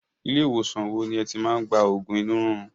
Ilé ìwòsàn wo ni ẹ ti máa ń gba oògùn inú rírun?